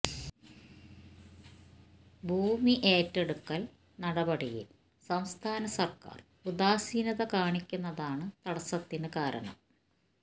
ഭൂമി ഏറ്റെടുക്കല് നടപടിയില് സംസ്ഥാന സര്ക്കാര് ഉദാസീനത കാണിക്കുന്നതാണ് തടസത്തിന് കാരണം